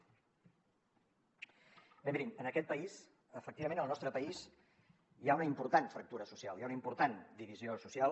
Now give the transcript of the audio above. bé mirin en aquest país efectivament en el nostre país hi ha una important fractura social hi ha una important divisió social